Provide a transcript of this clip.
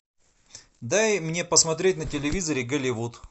дай мне посмотреть на телевизоре голливуд